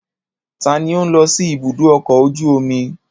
Ta ni ó ń lọ sí ibùdó ọkọ̀ ojú omi?